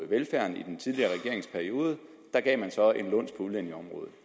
velfærden i den tidligere regeringsperiode gav man så en luns på udlændingeområdet